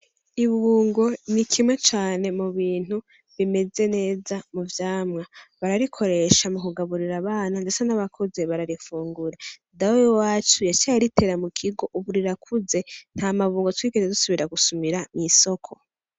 Ibungo ni kimwe cane mubintu bimeze neza muvyamwa bararikoresha mu kugaburira abana mbese nabakuze bararifungura dawe w' iwacu yaciye aritera mukigo ubu rirakuze nt' amabungo twigeze dusubira gusumira mwisoko.